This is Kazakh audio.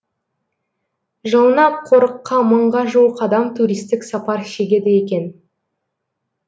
жылына қорыққа мыңға жуық адам туристік сапар шегеді екен